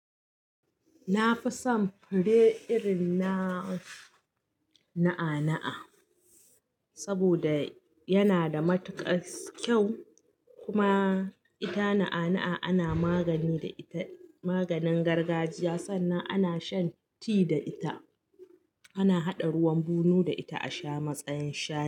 Na fi son fure irin na na'a-na'a saboda yana da matuƙas kyau kuma ita na'a-na'a ana magani da ita maganin gargajiya sannan ana shan ti da ita, ana haɗa ruwan bunu da ita a sha matsayin sha.